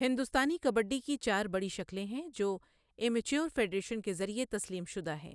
ہندوستانی کبڈی کی چار بڑی شکلیں ہیں جو امیچور فیڈریشن کے ذریعہ تسلیم شدہ ہیں۔